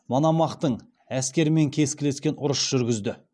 мономахтың әскерімен кескілескен ұрыс жүргізді